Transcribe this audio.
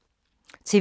TV 2